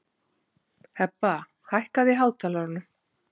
Hebba, hækkaðu í hátalaranum.